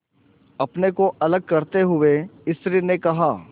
अपने को अलग करते हुए स्त्री ने कहा